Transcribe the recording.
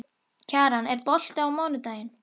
Kjaran, er bolti á mánudaginn?